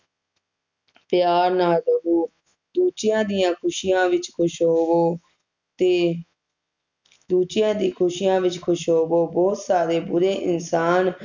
ਪਿਆਰ ਨਾਲ ਰਹੋ ਦੂਜੀਆਂ ਦੀਆ ਖੁਸ਼ੀਆਂ ਵਿਚ ਖੁਸ਼ ਹੋਵੋ ਤੇ ਦੂਜੀਆਂ ਦੀਆ ਖੁਸ਼ੀਆਂ ਵਿਚ ਖੁਸ਼ ਹੋਵੋ ਬੋਹੋਤ ਸਾਰੇ ਬੁਰੇ ਇਨਸਾਨ